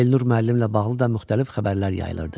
Elnur müəllimlə bağlı da müxtəlif xəbərlər yayılırdı.